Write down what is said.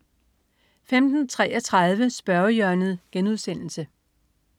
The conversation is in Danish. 15.33 Spørgehjørnet*